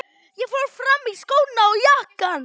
Ég fór fram og í skóna og jakkann.